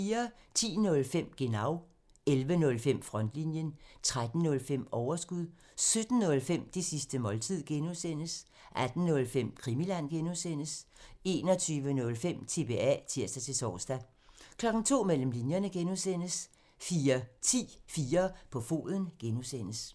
10:05: Genau (tir) 11:05: Frontlinjen (tir) 13:05: Overskud 17:05: Det sidste måltid (G) (tir) 18:05: Krimiland (G) (tir) 21:05: TBA (tir-tor) 02:00: Mellem linjerne (G) 04:10: 4 på foden (G)